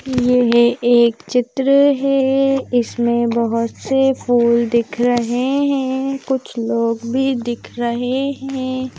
यह एक चित्र है इसमें बहुत से फूल दिख रहे हैं कुछ लोग भी दिख रहे हैं।